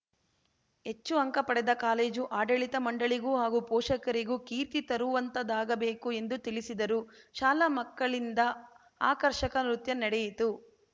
ಹೆಚ್ಚು ಅಂಕ ಪಡೆದ ಕಾಲೇಜು ಆಡಳಿತ ಮಂಡಳಿಗೂ ಹಾಗೂ ಪೋಷಕರಿಗೂ ಕೀರ್ತಿ ತರುವಂತಾಗಬೇಕು ಎಂದು ತಿಳಿಸಿದರು ಶಾಲಾ ಮಕ್ಕಳಿಂದ ಆಕರ್ಷಕ ನೃತ್ಯ ನಡೆಯಿತು